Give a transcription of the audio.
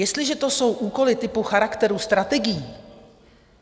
Jestliže to jsou úkoly typu charakteru strategií...